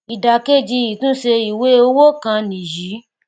ìdà kejì ìtúnṣe ìwé owó kan nìyí